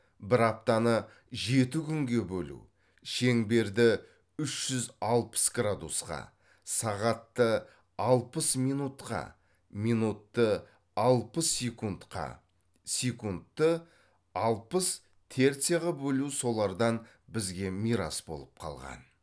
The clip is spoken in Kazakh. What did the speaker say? бір аптаны жеті күнге бөлу шеңберді үш жүз алпыс градусқа сағатты алпыс минутқа минутты алпыс секундқа секундты алпыс терцияға бөлу солардан бізге мирас болып қалған